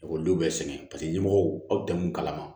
Ekɔlidenw bɛɛ sɛgɛn paseke ɲɛmɔgɔw tɛ mun kalama